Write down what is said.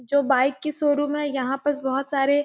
जो बाइक की शोरूम है यहाँ पास बहुत सारे --